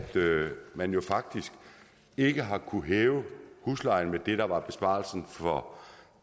man jo faktisk ikke har kunnet hæve huslejen med det der var besparelsen for